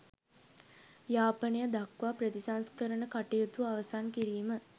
යාපනය දක්වා ප්‍රතිසංස්කරණ කටයුතු අවසන් කිරීම